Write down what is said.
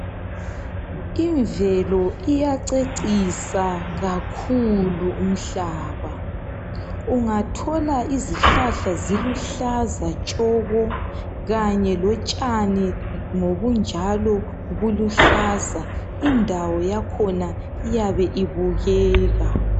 Imvelo iyacecisa kakhulu umhlaba, ungathola izihlahla ziluhlaza tshoko kanye lotshani ngobunjalo buluhlaza yakhona iyabe ibukeka.